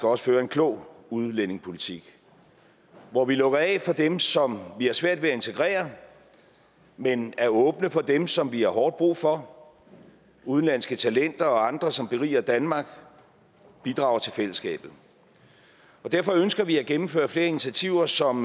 også føre en klog udlændingepolitik hvor vi lukker af for dem som vi har svært ved at integrere men er åbne for dem som vi har hårdt brug for udenlandske talenter og andre som beriger danmark og bidrager til fællesskabet derfor ønsker vi at gennemføre flere initiativer som